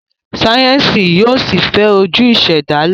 Sáyẹnsì yóò sí fè ojú ìsèdálè.